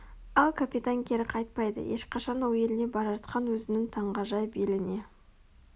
ал капитан кері қайтпайды ешқашан ол еліне бара жатқан өзінің таңғажайып еліне